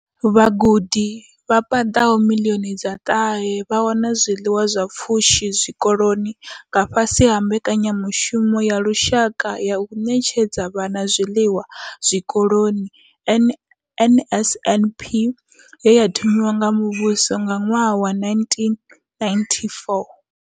Vhagudi vha paḓaho miḽioni dza ṱahe vha wana zwiḽiwa zwa pfushi zwikoloni nga fhasi ha mbekanyamushumo ya lushaka ya u ṋetshedza vhana zwiḽiwa zwikoloni NSNP ye ya thomiwa nga muvhuso nga ṅwaha wa 1994.